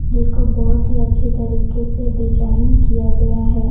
जिसको बहुत ही अच्छे तरीके से डिजाइन किया गया है।